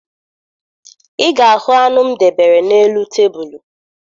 Ị ga-ahụ anụ m debere n'elu tebulu